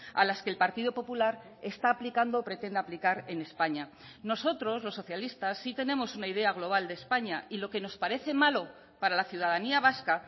a las que el partido popular está aplicando o pretende aplicar en españa nosotros los socialistas sí tenemos una idea global de españa y lo que nos parece malo para la ciudadanía vasca